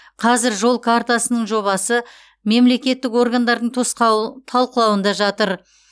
қазір жол картасының жобасы мемлекеттік органдардың талқылауында жатыр